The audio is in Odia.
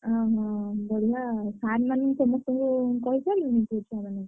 ଆ ହ ହ ହ ବଢିଆ ଆଉ sir ମାନଙ୍କୁ ସବୁ କ କହିସାଇଲାଣି ସବୁ ଛୁଆମାନଙ୍କୁ?